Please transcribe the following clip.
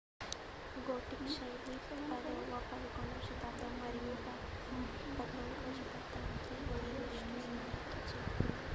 gothic శైలి 10వ - 11వ శతాబ్దాలు మరియు 14 వ శతాబ్దంలో గరిష్ట స్థాయికి చేరుకుంది